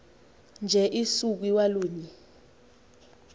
nje usuku iwalunye